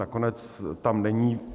Nakonec tam není.